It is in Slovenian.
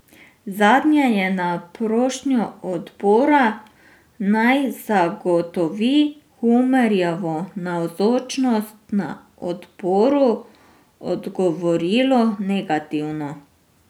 Zadnje je na prošnjo odbora, naj zagotovi Humarjevo navzočnost na odboru, odgovorilo negativno.